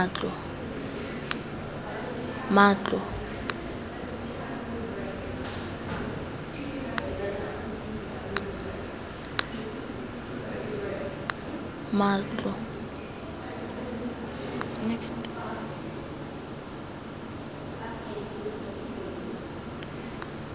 matlo